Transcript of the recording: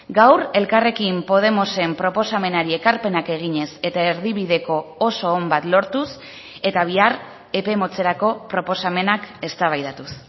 gaur elkarrekin podemosen proposamenari ekarpenak eginez eta erdibideko oso on bat lortuz eta bihar epe motzerako proposamenak eztabaidatuz